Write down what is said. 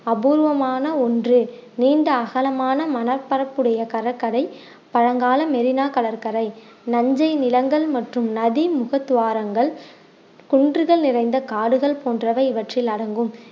அபுர்வமான ஒண்று நீண்ட அகலமான மணல் பரப்புடைய கடற்கரை பழங்கால மெரினா கடற்கரை நஞ்சை நிலங்கள் மற்றும் நதிமுக துவாரங்கள் குன்றுகள் நிறைந்த காடுகள் போன்றவை இவற்றில் அடங்கும்